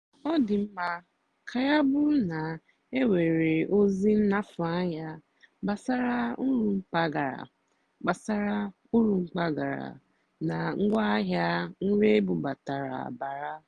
ọ́ dì́ m kà yá bụ́rụ́ ná énwèrè ózì nnàfụ́ ányá gbàsàrà ùrù mpàgàrà gbàsàrà ùrù mpàgàrà nà ngwáàhịá nrì ébúbátàrá bàrà.